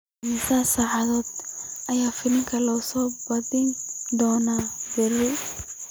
Imisa saac ayaa filimka la soo bandhigi doonaa berri